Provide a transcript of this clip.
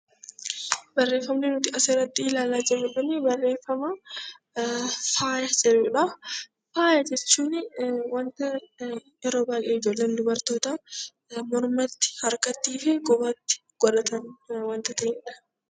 Barreeffama nuti as irratti ilaalaa jiru kun barreeffama faaya jedhuudha. Faaya jechuun wanta yeroo baayyee ijoolleen dubartootaa mormatti, harkattii fi qubatti godhataniidha.